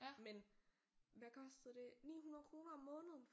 Men hvad kostede det 900 kroner om måneden